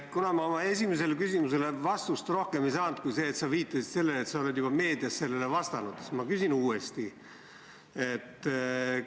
Kuna ma ei saanud oma esimesele küsimusele rohkem vastust kui see sinu viide, et sa oled juba meedias sellele vastanud, siis ma küsin uuesti.